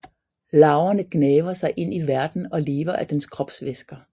Larverne gnaver sig ind i værten og lever af dens kropsvæsker